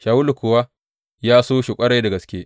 Shawulu kuwa ya so shi ƙwarai da gaske.